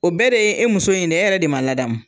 O bɛɛ de ye e muso in dɛ e yɛrɛ de ma ladamu.